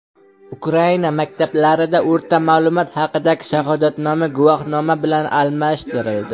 Ukraina maktablarida o‘rta ma’lumot haqidagi shahodatnoma guvohnoma bilan almashtirildi.